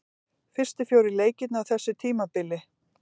Fyrstu fjórir leikirnir á þessu tímabili.